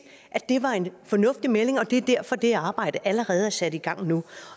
at det var en fornuftig melding det er derfor at det arbejde allerede er sat i gang nu